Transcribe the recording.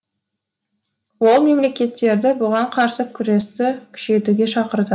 ол мемлекеттерді бұған қарсы күресті күшейтуге шақырды